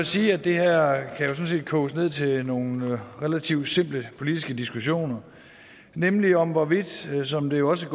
sige at det her sådan set kan koges ned til nogle relativt simple politiske diskussioner nemlig om hvorvidt som det også